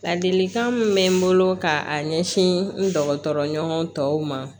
Ladilikan min bɛ n bolo ka a ɲɛsin n dɔgɔtɔrɔɲɔgɔn tɔw ma